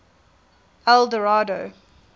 eldorado